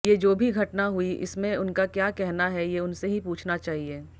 ये जो भी घटना हुई इसमें उनका क्या कहना है ये उनसे ही पूछना चाहिए